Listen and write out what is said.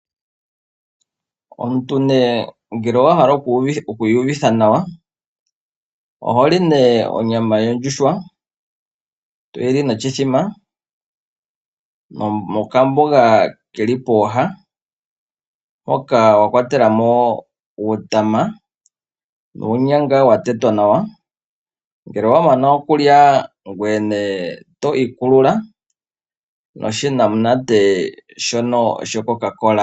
Omuntu ngele owahala okwiiyuvitha nawa , oholi onyama yondjuhwa toyi li noshimbombo nokamboga keli pooha. Okamboga okakwatelamo uutama nuunyanga watetwa nawa. Ngele owamonnana okulya, ngoye to ikulula noshinamunate shCoca Cola.